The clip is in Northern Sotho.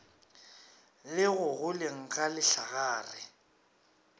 le go goleng ga lehlagare